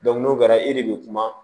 n'o kɛra e de bɛ kuma